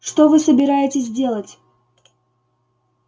что вы собираетесь делать